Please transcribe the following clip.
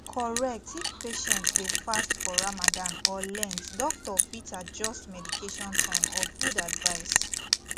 correct if patient dey fast for ramadan or lent doctor fit adjust medication time or food advice